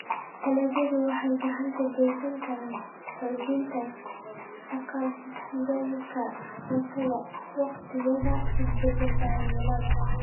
Dalagyadu waxay gacan ka geysan karaan xoojinta haqab-beelka cuntada waqtiyada isbeddelka cimilada.